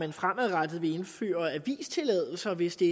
vi fremadrettet ville indføre avistilladelser hvis det